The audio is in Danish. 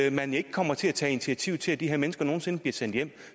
at man ikke kommer til at tage initiativ til at de her mennesker nogen sinde bliver sendt hjem